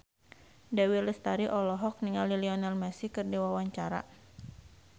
Dewi Lestari olohok ningali Lionel Messi keur diwawancara